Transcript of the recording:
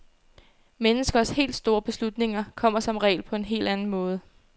Menneskers helt store beslutninger kommer som regel på en helt anden måde.